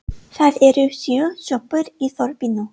Það eru sjö sjoppur í þorpinu!